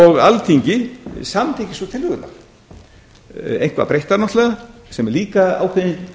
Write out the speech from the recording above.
og alþingi samþykki svo tillögurnar eitthvað breyttar sem er líka ákveðin